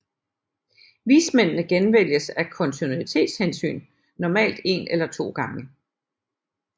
Vismændene genvælges af kontinuitetshensyn normalt en eller to gange